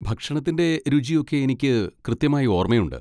ഭക്ഷണത്തിൻ്റെ രുചിയൊക്കെ എനിക്ക് കൃത്യമായി ഓർമ്മയുണ്ട്.